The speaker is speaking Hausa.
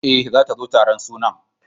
E, zata zo taron sunan.